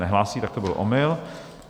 Nehlásí, tak to byl omyl.